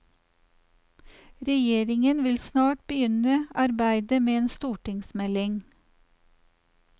Regjeringen vil snart begynne arbeidet med en stortingsmelding.